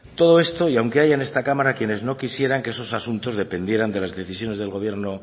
todo esto y aunque haya en esta cámara quienes no quisieran que esos asuntos dependieran de las decisiones del gobierno